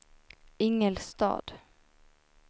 Ingelstad